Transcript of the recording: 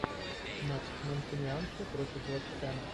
матч манкунианцы против вест хэма